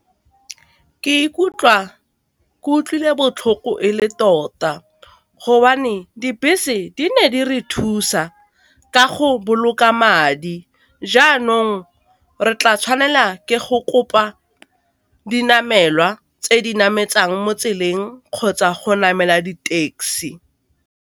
Ke ikutlwa ke utlwile botlhoko e le tota gobane dibese di ne di re thusa ka go boloka madi, jaanong re tla tshwanela ke go kopa dinamelwa tse di nametsang mo tseleng kgotsa go namela di taxi.